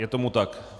Je tomu tak.